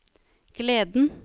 gleden